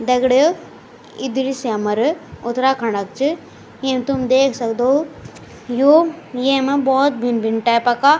दगडियों यी दृश्य हमर उत्तराखण्ड क च एम तुम देख सक्दो यु येमा भोत भिन्न भिन्न टाइप का --